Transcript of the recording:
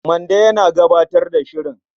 Mande yana gabatar da shirin.